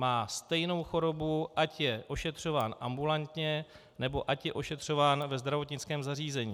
Má stejnou chorobu, ať je ošetřován ambulantně, nebo ať je ošetřován ve zdravotnickém zařízení.